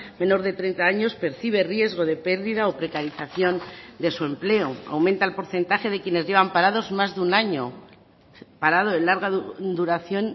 menor de treinta años percibe riesgo de pérdida o precarización de su empleo aumenta el porcentaje de quienes llevan parados más de un año parado de larga duración